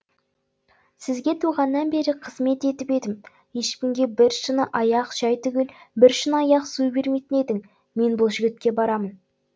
сізге туғаннан бері қызмет етіп едім ешкімге бір шыны аяқ шай түгіл бір шыны аяқ су бермейтін едің мен бұл жігітке барамын